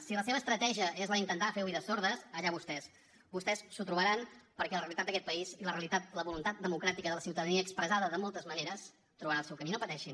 si la seva estratègia és la d’intentar fer oïdes sordes allà vostès vostès s’ho trobaran perquè la realitat d’aquest país i la voluntat democràtica de la ciutadania expressada de moltes maneres trobarà el seu camí no pateixin